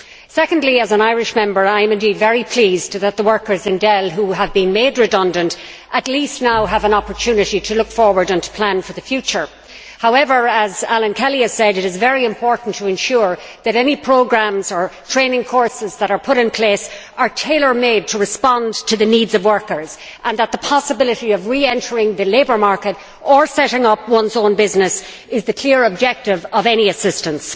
Secondly, as an Irish Member, I am indeed very pleased that the workers in Dell who have been made redundant at least now have an opportunity to look forward and to plan for the future. However, as Alan Kelly has said, it is very important to ensure that any programmes or training courses that are put in place are tailor made to respond to the needs of workers and that the possibility of re entering the labour market, or setting up one's own business, is the clear objective of any assistance.